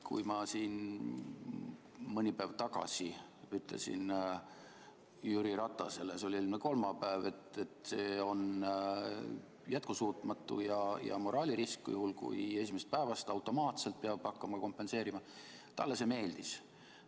Kui ma siin mõni päev tagasi ütlesin Jüri Ratasele – see oli eelmine kolmapäev –, et see on jätkusuutmatu ja moraalirisk, kui esimesest päevast automaatselt peab hakkama kompenseerima, siis talle see meeldis.